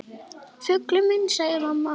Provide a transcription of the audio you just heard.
Fuglinn minn, segir mamma.